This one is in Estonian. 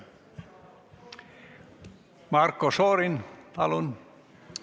Marko Šorin, palun!